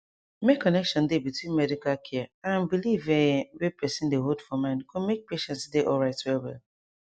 make connection dey between medical care and belief um wey person dey hold for mind go make patient dey alright well well